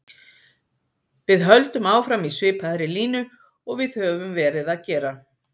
Við höldum áfram í svipaðri línu og við höfum verið að gera.